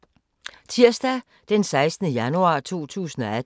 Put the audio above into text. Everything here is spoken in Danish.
Tirsdag d. 16. januar 2018